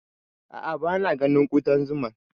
A'a, ba na ganin Ƙuɗan zuman